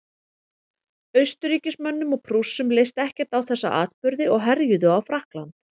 austurríkismönnum og prússum leist ekkert á þessa atburði og herjuðu á frakkland